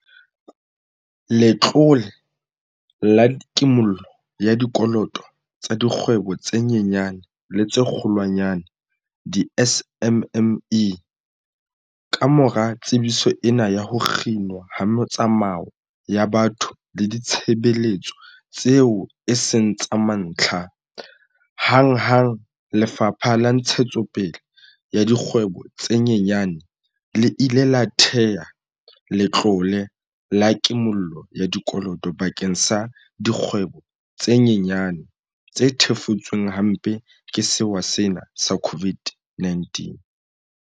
Letlole la Kimollo ya Dikoloto tsa Dikgwebo tse Nyenyane le tse Kgolwanyane, di-SMME, Kamora tsebiso ena ya ho kginwa ha metsamao ya batho le ditshebeletso tseo e seng tsa mantlha, hanghang Lefapha la Ntshetsopele ya Dikgwebo tse Nyenyane le ile la thea letlole la ki-mollo ya dikoloto bakeng sa dikgwebo tse nyenyane tse thefutsweng hampe ke sewa sena sa COVID-19.